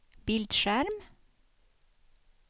bildskärm